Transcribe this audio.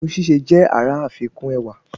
Irun síse jẹ àrà àfikùn ẹwà